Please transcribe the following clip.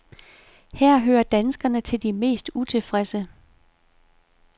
Her hører danskerne til de mest utilfredse.